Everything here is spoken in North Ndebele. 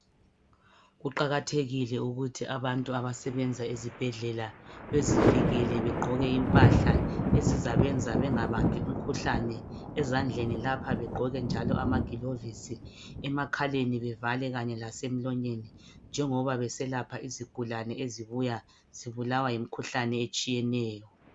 Kuqakathekile ukuthi abantu abasebenza ezibhedlela bezivikele begqoke impahla ezizabenza bengabambi imikhuhlane ezandleni lapha begqoke njalo ama gilovisi emakhaleni bevale kanye lasemlonyeni. Njengobaba bese lapha izigulane ezibuya zibulawa yimikhuhlane etshiyeneyo.